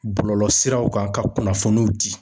Bɔlɔlɔsiraw kan ka kunnafoniw di.